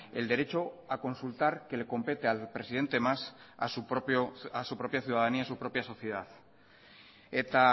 el derecho a consultar que le compete al presidente mas a su propia ciudadanía a su propia sociedad eta